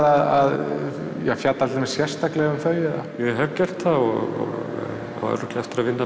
að fjalla um þær sérstaklega ég hef gert það og á örugglega eftir að vinna